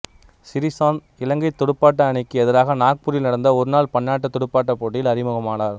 சிறிசாந்த் இலங்கைத் துடுப்பாட்ட அணிக்கு எதிராக நாக்பூரில் நடந்த ஒருநாள் பன்னாட்டுத் துடுப்பாட்டப் போட்டியில் அறிமுகமானார்